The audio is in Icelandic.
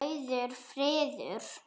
Rauður friður